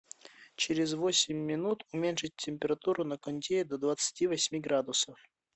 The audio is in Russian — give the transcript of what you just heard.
через восемь минут уменьшить температуру на кондее до двадцати восьми градусов